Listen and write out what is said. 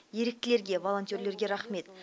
еріктілерге волонтерлерге рахмет